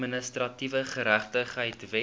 administratiewe geregtigheid wet